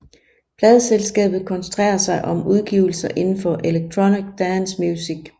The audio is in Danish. Pladeselskabet koncentrerer sig om udgivelser indenfor electronic dance music